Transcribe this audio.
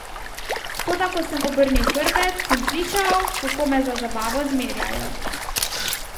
Toda ko sem obrnil hrbet, sem slišal, kako me za zabavo zmerjajo.